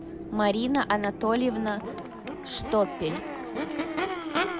марина анатольевна штопель